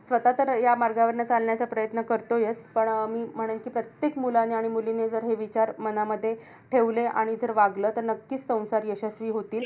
स्वतः तर ह्या मार्गावरनं चालण्याचा प्रयत्न करतोयेत. पण अं मी म्हणेल कि प्रत्येक मुलाने आणि मुलीने जर हे विचार मनामध्ये ठेवले, आणि जर वागलं तर नक्कीच संसार यशस्वी होतील.